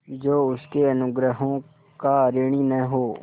जो उसके अनुग्रहों का ऋणी न हो